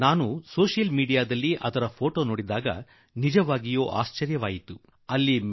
ನಾನು ಸೋಷಿಯಲ್ ಮೀಡಿಯಾದಲ್ಲಿ ಆ ಉಡುಗೊರೆ ನೀಡುತ್ತಿರುವ ಚಿತ್ರ ನೋಡಿದಾಗ ಮದುವೆಯಲ್ಲಿ ಗಂಡು ಹೆಣ್ಣಿನ ಕಡೆಯವರು ಕಾಣಿಸುತ್ತಲೇ ಇರಲಿಲ್ಲ